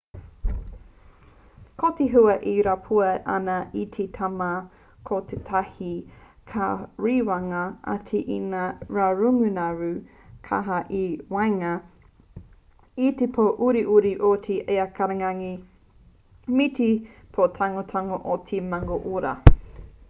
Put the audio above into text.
ko te hua e rapua ana i te tīma ko tētahi ka rewangia ake e ngā ngarungaru kaha i waenga i te pō uriuri o te ikarangi me te pō tangotango o te mangōroa